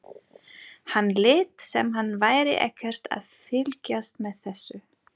Hann lét sem hann væri ekkert að fylgjast með þessu.